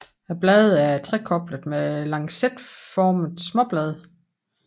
Bladene er trekoblede med lancetformede småblade